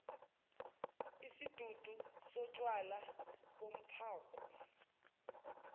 isidudu sotshwala bomphako